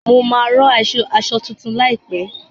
Mo máa ran aṣọ tuntun láìpẹ.